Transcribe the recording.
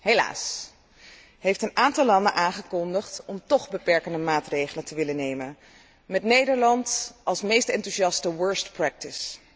Helaas heeft een aantal landen aangekondigd toch beperkende maatregelen te willen nemen, met Nederland als meest enthousiaste worst practice